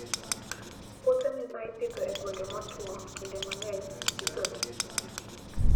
Puothe ma ipidho e gwenge motwo, kinde mang'eny idhogi gi pi.